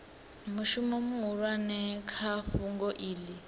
mushumo muhulwane kha fhungo iḽi